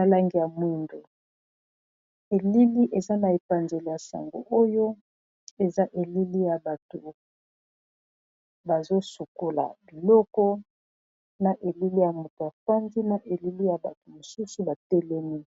a langiya mwindo elili eza na epanzele ya sango oyo eza elili ya bato bazosukola biloko na elili ya moto ya fandi na elili ya bato mosusu batelemi